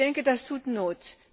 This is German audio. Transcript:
Ich denke, das tut Not.